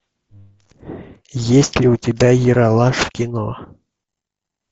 есть ли у тебя ералаш кино